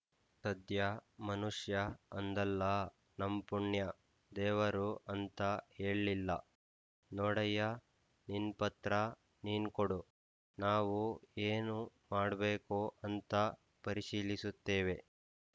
ಸದ್ಯ ಮನುಷ್ಯ ಅಂದಲ್ಲಾ ನಮ್ ಪುಣ್ಯ ದೇವರು ಅಂತ ಹೇಳ್‍ಲಿಲ್ಲ ನೋಡಯ್ಯ ನಿನ್ ಪತ್ರ ನೀನ್ ಕೊಡು ನಾವು ಏನು ಮಾಡ್ಬೇಕು ಅಂತ ಪರಿಶೀಲಿಸುತೇವೆ